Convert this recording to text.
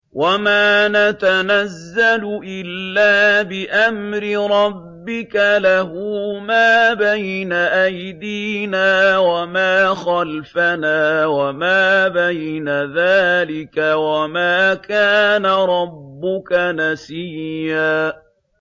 وَمَا نَتَنَزَّلُ إِلَّا بِأَمْرِ رَبِّكَ ۖ لَهُ مَا بَيْنَ أَيْدِينَا وَمَا خَلْفَنَا وَمَا بَيْنَ ذَٰلِكَ ۚ وَمَا كَانَ رَبُّكَ نَسِيًّا